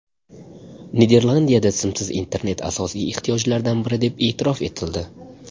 Niderlandiyada simsiz internet asosiy ehtiyojlardan biri deb e’tirof etildi.